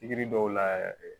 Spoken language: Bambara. dɔw la yɛrɛ